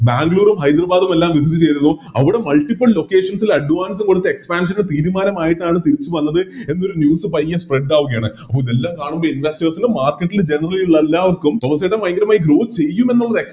ബാംഗ്ലൂരും ഹൈദരബാദുമെല്ലാം Visit ചെയ്തിരുന്നു അവിടെ Multiple locations ല് Advance കൊടുത്ത് Expansion തീരുമാനമായിട്ടാണ് തിരിച്ച് വന്നത് എന്നൊരു News പയ്യെ Spread ആവുകയാണ് അപ്പൊ ഇതെല്ലം കാണുന്ന Investors ന് Market ൽ Generally എല്ലാവർക്കും അപ്പൊ തോമാസേട്ടൻ ഭയങ്കരമായിട്ട് Grow ചെയ്യും എന്നുള്ള